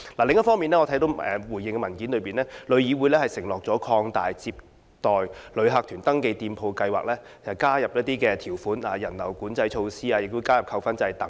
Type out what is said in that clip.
另一方面，我看到回應的文件指出，旅議會承諾會擴大有關接待旅客團登記店鋪的計劃，並加入一些條款和人流管制的措施，以及加入扣分制。